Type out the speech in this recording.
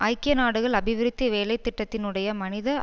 ஐக்கிய நாடுகள் அபிவிருத்தி வேலைத்திட்டத்தினுடைய மனித